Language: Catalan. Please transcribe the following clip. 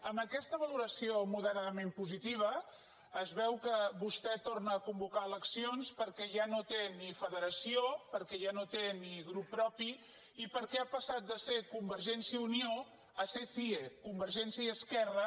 amb aquesta valoració moderadament positiva es veu que vostè torna a convocar eleccions perquè ja no té ni federació perquè ja no té ni grup propi i perquè ha passat de ser convergència i unió a ser cie convergència i esquerra